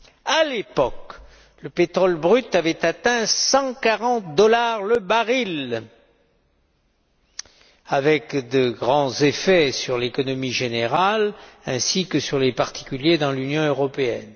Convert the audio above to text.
À l'époque, le pétrole brut avait atteint 140 dollars le baril, ce qui avait eu de grands effets sur l'économie générale ainsi que sur les particuliers dans l'Union européenne.